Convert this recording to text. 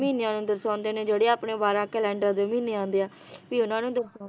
ਮਹੀਨਿਆਂ ਨੂੰ ਦਰਸ਼ਾਉਂਦੇ ਨੇ ਜਿਹੜੇ ਆਪਣੇ ਬਾਰਾਂ calendar ਦੇ ਮਹੀਨੇ ਆਂਦੇ ਆ ਵੀ ਉਹਨਾਂ ਨੂੰ